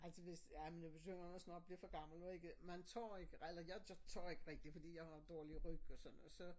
Ej det hvis ja men nu begynder man også nok at blive for gammel nu ikke man tør eller jeg tør ikke rigtig fordi jeg har dårlig ryg og sådan og så